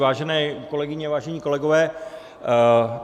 Vážené kolegyně, vážení kolegové.